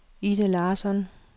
Ida Larsson